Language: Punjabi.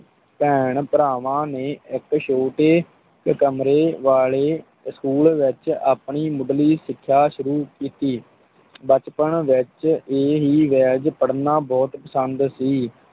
ਭੈਣ ਭਰਾਵਾਂ ਨੇ ਇੱਕ ਛੋਟੇ ਇੱਕ ਕਮਰੇ ਵਾਲੇ school ਵਿੱਚ ਆਪਣੀ ਮੁੱਢਲੀ ਸਿੱਖਿਆ ਸ਼ੁਰੂ ਕੀਤੀ ਬਚਪਨ ਵਿੱਚ ਇਹ ਹੀ ਵੇਲਜ਼ ਪੜ੍ਹਨਾ ਬਹੁਤ ਪਸੰਦ ਸੀ।